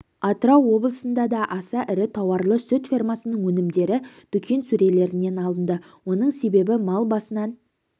атырау облысында да аса ірі тауарлы сүт фермасының өнімдері дүкен сөрелерінен алынды оның себебі мал басынан